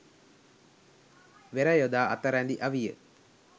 වෙර යොදා අත රැඳි අවිය